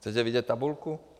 Chcete vidět tabulku?